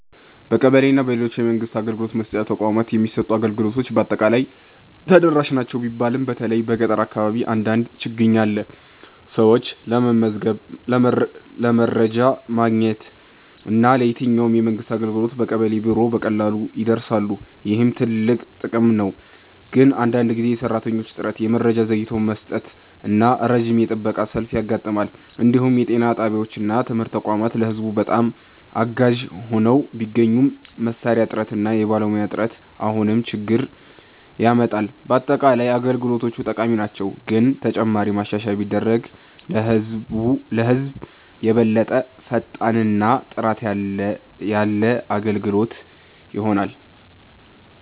በቀበሌ እና በሌሎች የመንግስት አገልግሎት መስጫ ተቋማት የሚሰጡ አገልግሎቶች በአጠቃላይ ተደራሽ ናቸው ቢባልም በተለይ በገጠር አካባቢ አንዳንድ ችግኝ አለ። ሰዎች ለመመዝገብ፣ ለመረጃ ማግኘት እና ለየትኛውም የመንግስት አገልግሎት በቀበሌ ቢሮ በቀላሉ ይደርሳሉ፣ ይህም ትልቅ ጥቅም ነው። ግን አንዳንድ ጊዜ የሰራተኞች እጥረት፣ የመረጃ ዘግይቶ መስጠት እና ረጅም የጥበቃ ሰልፍ ያጋጥማል። እንዲሁም የጤና ጣቢያዎች እና ትምህርት ተቋማት ለህዝብ በጣም አጋዥ ሆነው ቢገኙም መሳሪያ እጥረት እና የባለሙያ እጥረት አሁንም ችግኝ ያመጣል። በአጠቃላይ አገልግሎቶቹ ጠቃሚ ናቸው፣ ግን ተጨማሪ ማሻሻያ ቢደረግ ለህዝብ የበለጠ ፈጣን እና ጥራት ያለ አገልግሎት ይሆናል።